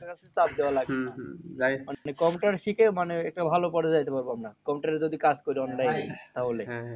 চাপ দেওয়া লাগবে না। computer শিখে মানে একটা ভালো পর্যায়ে যেতে পারবো আমরা। computer এ যদি কাজ করি online এ তাহলে